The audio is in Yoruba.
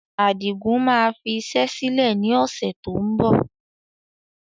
Adigun máa fi iṣẹ́ sílẹ̀ ni ọ̀sẹ̀ tó ń bọ̀